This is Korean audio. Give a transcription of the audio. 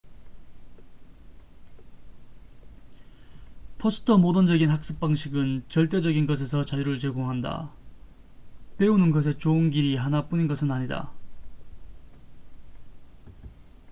포스트 모던적인 학습 방식은 절대적인 것에서 자유를 제공한다 배우는 것에 좋은 길이 하나뿐인 것은 아니다